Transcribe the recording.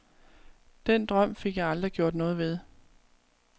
Den drøm fik jeg aldrig gjort noget ved.